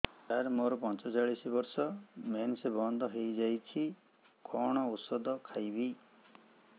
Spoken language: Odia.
ସାର ମୋର ପଞ୍ଚଚାଳିଶି ବର୍ଷ ମେନ୍ସେସ ବନ୍ଦ ହେଇଯାଇଛି କଣ ଓଷଦ ଖାଇବି